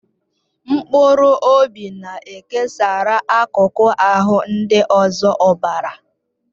Mkpụrụ obi na-ekesara akụkụ ahụ ndị ọzọ ọbara.